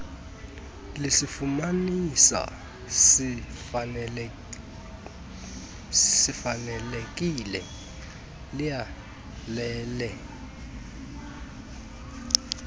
lisifumanisa sifanelekile liyalele